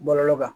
Bɔlɔlɔ kan